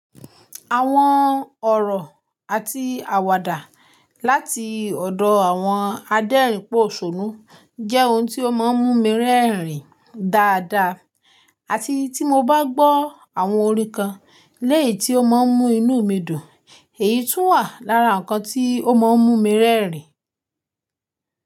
Àwọn ọ̀rọ̀ àti àwàdà láti ọ̀dọ̀ àwọn adẹ́rìn pòṣónú jẹ́ ohun tí ó máa ń mú mi rẹ́rìn dáadáa àti tí mo bá gbọ́ àwọn orín kan léyìí tí ó máa ń mú inú mi dùn èyí tún wà lára nǹkan tí ó máa ń múmi rẹ́rìn.